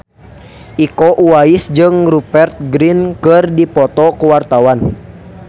Iko Uwais jeung Rupert Grin keur dipoto ku wartawan